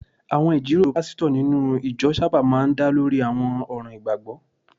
Àwọn ìjíròrò pásítọ̀ nínú ìjọ sábà máa ń dá lórí àwọn ọ̀ràn ìgbàgbọ́